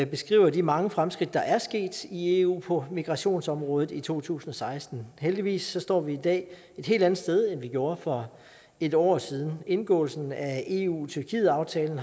beskriver de mange fremskridt der er sket i eu på migrationsområdet i to tusind og seksten heldigvis står vi i dag et helt andet sted end vi gjorde for en år siden indgåelsen af eu tyrkiet aftalen